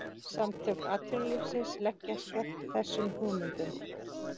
Samtök atvinnulífsins leggjast gegn þessum hugmyndum